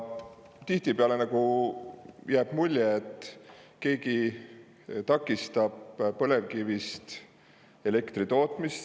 Tihtipeale jääb mulje, et keegi nagu takistab põlevkivist elektri tootmist.